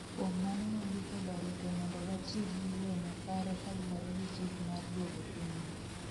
kuom mano wandiko barupe mondo watii gii yo makare kaluwore gichik mar duogo pinywa